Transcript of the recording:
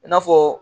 I n'a fɔ